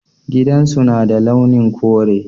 Gidan su na da launin kure.